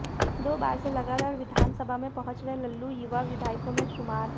दो बार से लगातार विधानसभा में पहुंच रहे लल्लू युवा विधायकों में शुमार हैं